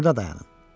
Burda dayanın.